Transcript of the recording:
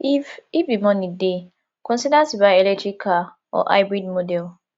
if if di money dey consider to buy electric car or hybrid model